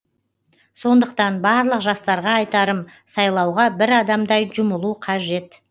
сондықтан барлық жастарға айтарым сайлауға бір адамдай жұмылу қажет